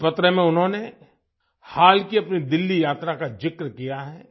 इस पत्र में उन्होंने हाल की अपनी दिल्ली यात्रा का जिक्र किया है